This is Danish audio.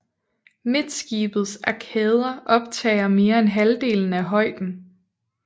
Midtskibets arkader optager mere end halvdelen af højden